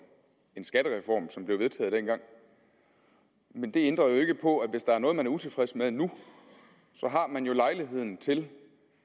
en skattereform som blev vedtaget dengang men det ændrer jo ikke på at hvis der er noget man er utilfreds med nu har man jo lejligheden til